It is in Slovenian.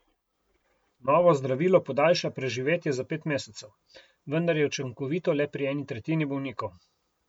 Novo zdravilo podaljša preživetje za pet mesecev, vendar je učinkovito le pri eni tretjini bolnikov.